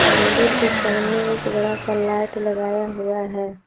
मंदिर के सामने एक बड़ा सा लाइट लगाया हुआ है।